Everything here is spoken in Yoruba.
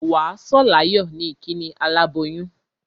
Wà á sọ̀ láyọ̀ ni ìkíni aláboyún.